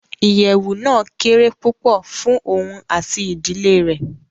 Ìyẹwu náa kére pupọ fùn oun ati ìdile rẹ